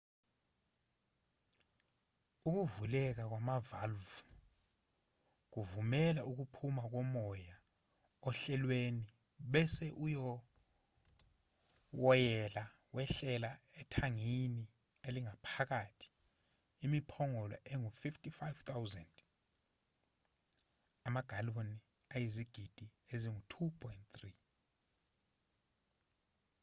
ukuvuleka kwamavalvu kuvumela ukuphuma komoya ohlelweni bese uwoyela wehlela ethangini elingaphatha imiphongolo engu-55,000 amagaloni ayizigidi ezingu-2.3